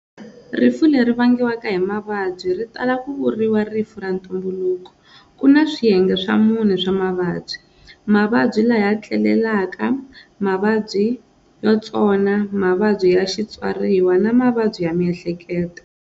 Rifu leri vangiwaka hi mavabyi, ri tala ku vuriwa rifu ra ntumbuluko. Kuna swiyenge swa mune swa mavabyi-Mavabyi laya tlelelaka, Mavabyi yotsona, Mavabyi ya xitswariwa, na mavabyi ya mihleketo.